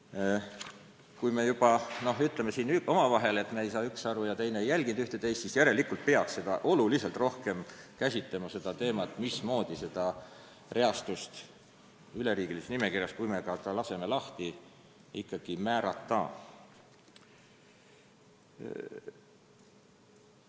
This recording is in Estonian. Ja kui me juba siin omavahel ütleme, et me ei saa kas sisust aru või pole ühte-teist jälginud, siis järelikult peaks oluliselt rohkem käsitlema teemat, mismoodi see reastus üleriigilises nimekirjas ikkagi määrata, kui me muudame ta vabaks, avatuks.